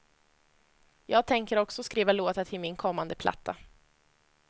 Jag tänker också skriva låtar till min kommande platta.